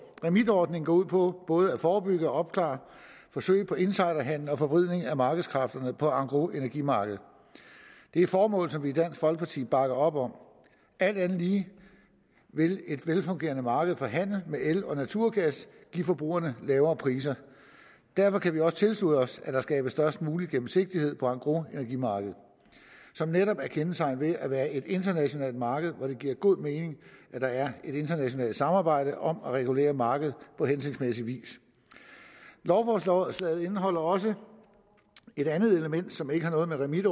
remit forordningen går ud på både at forebygge og opklare forsøg på insiderhandel og forvridning af markedskræfterne på engrosenergimarkedet det er formål som vi i dansk folkeparti bakker op om alt andet lige vil et velfungerende marked for handel med el og naturgas give forbrugerne lavere priser derfor kan vi også tilslutte os at der skabes størst mulig gennemsigtighed på engrosenergimarkedet som netop er kendetegnet ved at være et internationalt marked hvor det giver god mening at der er et internationalt samarbejde om at regulere markedet på hensigtsmæssig vis lovforslaget indeholder også et andet element som ikke har noget med remit